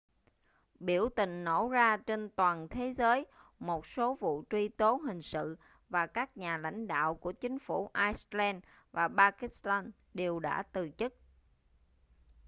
biểu tình nổ ra trên toàn thế giới một số vụ truy tố hình sự và các nhà lãnh đạo của chính phủ iceland và pakistan đều đã từ chức